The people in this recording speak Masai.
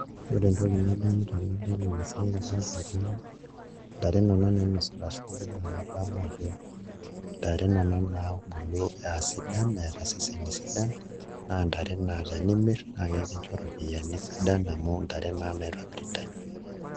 Ore entoki nadamu tenadol ena siai adolita ajo ntare nena nainosita shumbi naa adamu ajo ntare nena naabulu aasidan eeta iseseni sidan naa ntare naa tenimirr nikincho iropiyiani sidan amu ntare naa naitobiritai.